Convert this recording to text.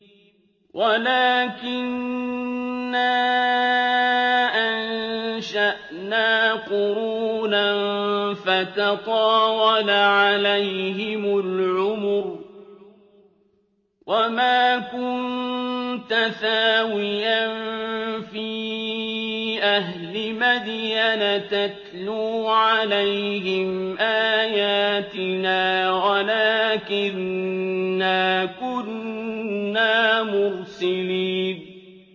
وَلَٰكِنَّا أَنشَأْنَا قُرُونًا فَتَطَاوَلَ عَلَيْهِمُ الْعُمُرُ ۚ وَمَا كُنتَ ثَاوِيًا فِي أَهْلِ مَدْيَنَ تَتْلُو عَلَيْهِمْ آيَاتِنَا وَلَٰكِنَّا كُنَّا مُرْسِلِينَ